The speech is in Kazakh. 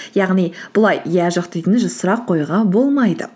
яғни бұлай иә жоқ дейтін сұрақ қоюға болмайды